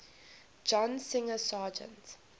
john singer sargent